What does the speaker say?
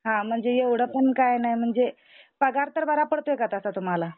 हां म्हणजे एवढ पण काय नाही म्हणजे पगार तर बरा पडतो का तसा तुम्हाला?